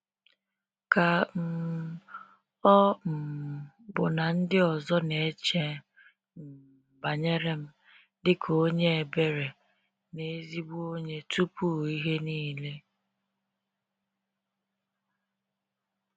ka um ọ um bụ na ndị ọzọ na eche um banyere m dị ka onye ebere na ezigbo onye tupu ihe niile?